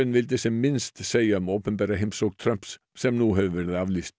vildi sem minnst segja um opinbera heimsókn Trumps sem nú hefur verið aflýst